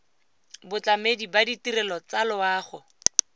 batlamedi ba ditirelo tsa loago